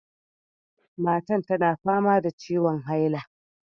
Matar tana fama da ciwon haila.